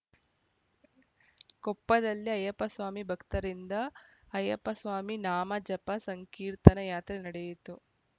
ಕೊಪ್ಪದಲ್ಲಿ ಅಯ್ಯಪ್ಪಸ್ವಾಮಿ ಭಕ್ತರಿಂದ ಅಯ್ಯಪ್ಪಸ್ವಾಮಿ ನಾಮ ಜಪ ಸಂಕೀರ್ತನಾ ಯಾತ್ರೆ ನಡೆಯಿತು